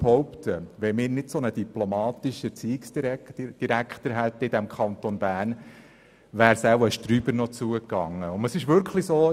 Ich behaupte, dass es wohl schlimmer herausgekommen wäre, wenn wir im Kanton Bern nicht so einen diplomatischen Erziehungsdirektor hätten.